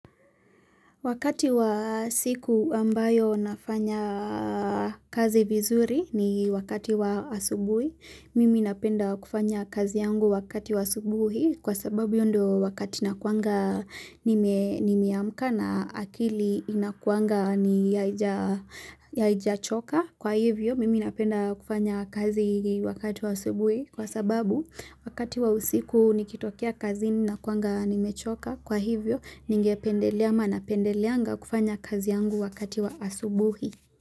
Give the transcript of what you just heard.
Wakati wa siku ambayo nafanya kazi vizuri ni wakati wa asubuhi, mimi napenda kufanya kazi yangu wakati wa asubuhi kwa sababu ndio wakati nakuanga nime nimeamka na akili inakuanga ni haija haijachoka kwa hivyo mimi napenda kufanya kazi wakati wa asubuhi kwa sababu wakati wa usiku nikitokea kazini nakuanga nimechoka kwa hivyo nangependelea ama napendeleanga kufanya kazi yangu wakati wa asubuhi.